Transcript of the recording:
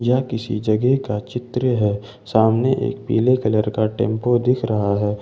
यह किसी जगह का चित्र है सामने एक पीले कलर का टेंपो दिख रहा है।